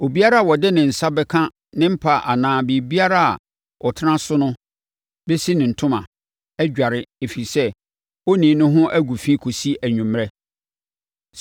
Obiara a ɔde ne nsa bɛka ne mpa anaa biribiara a ɔtena so no bɛsi ne ntoma, adware, ɛfiri sɛ, onii no ho agu fi kɔsi anwummerɛ.